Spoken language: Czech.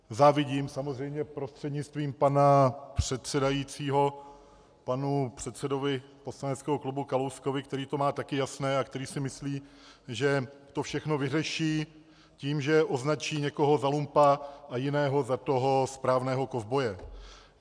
Závidím samozřejmě - prostřednictvím pana předsedajícího - panu předsedovi poslaneckého klubu Kalouskovi, který to má také jasné a který si myslí, že to všechno vyřeší tím, že označí někoho za lumpa a jiného za toho správného kovboje.